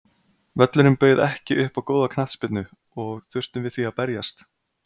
Völlurinn bauð ekki upp á góða knattspyrnu og þurftum við því að berjast.